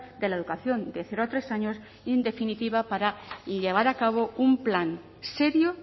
de la educación de cero a tres años y en definitiva para llevar a cabo un plan serio